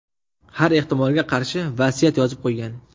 Har ehtimolga qarshi vasiyat yozib qo‘ygan.